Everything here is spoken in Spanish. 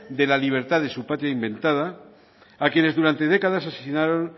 de la libertad de su patria inventada a quienes durante décadas asesinaron